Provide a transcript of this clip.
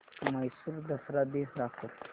म्हैसूर दसरा दिन दाखव